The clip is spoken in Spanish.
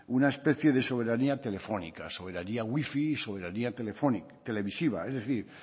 una especie de soberanía telefónica soberanía wifi soberanía televisiva es decir